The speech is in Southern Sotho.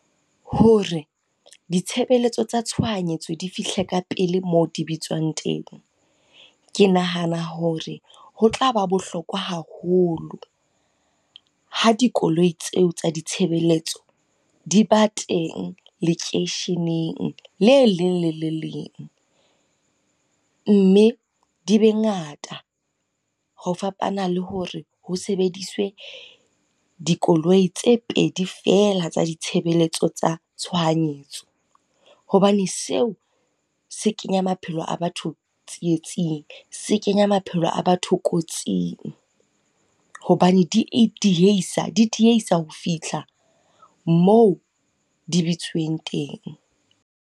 Hore ditshebeletso tsa tshohanyetso di fihle ka pele moo di bitswang teng. Ke nahana hore ho tlaba bohlokwa haholo, ha dikoloi tseo tsa ditshebeletso di ba teng lekeisheneng le leng le le leng. Mme di be ngata, ho fapana le hore ho sebediswe dikoloi tse pedi fela tsa ditshebeletso tsa tshohanyetso. Hobane seo se kenya maphelo a batho tsietsing, se kenya maphelo a batho kotsing. Hobane di diehisa ho fihla moo di bitsiweng teng.